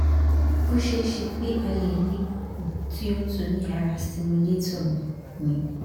o ṣee ṣe pe a le ni okun ti o tu ni ara stimulator mi mi